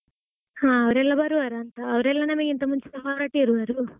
ಹ ಅವ್ರೆಲ್ಲಾ ಬರುವಾರಂತ ಅವರೆಲ್ಲಾ ನಮಗಿಂತ ಮುಂಚೆ ಹೊರಟಿರುವರು.